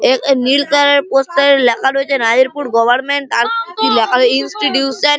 এক এ নীল কালারের পোস্টার -এর লেখা রয়েছে রায়পুর গভারমেন্ট আর লেখা রয়ে ইনস্টিটিউশন --